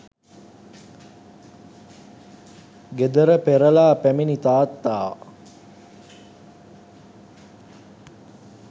ගෙදර පෙරළා පැමිණි තාත්තා